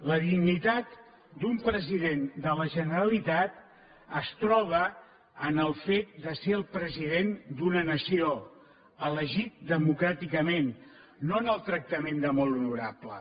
la dignitat d’un president de la generalitat es troba en el fet de ser el president d’una nació elegit democràticament no en el tractament de molt honorable